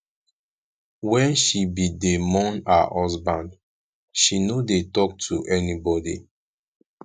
wen she bin dey mourn her husband she no dey talk to anybody